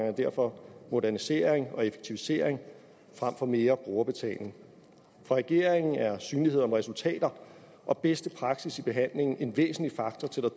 er derfor modernisering og effektivisering frem for mere brugerbetaling for regeringen er synlighed om resultater og bedste praksis i behandlingen en væsentlig faktor til at